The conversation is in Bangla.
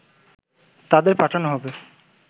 তাদের পাঠানো হবে